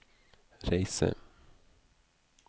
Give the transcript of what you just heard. reise